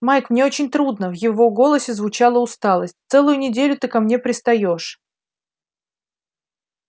майк мне очень трудно в его голосе звучала усталость целую неделю ты ко мне пристаёшь